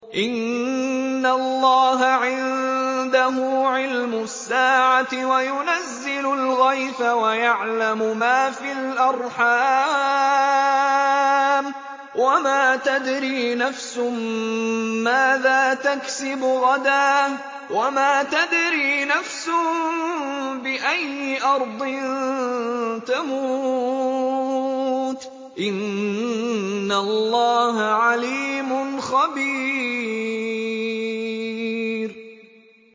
إِنَّ اللَّهَ عِندَهُ عِلْمُ السَّاعَةِ وَيُنَزِّلُ الْغَيْثَ وَيَعْلَمُ مَا فِي الْأَرْحَامِ ۖ وَمَا تَدْرِي نَفْسٌ مَّاذَا تَكْسِبُ غَدًا ۖ وَمَا تَدْرِي نَفْسٌ بِأَيِّ أَرْضٍ تَمُوتُ ۚ إِنَّ اللَّهَ عَلِيمٌ خَبِيرٌ